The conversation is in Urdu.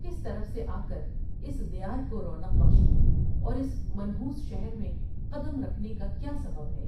کس طرف سے آ کر اس دیارکو رونق بخشی اور اس منحوس شہر میں قدم رکھنے کا کیا سبب ہے ؟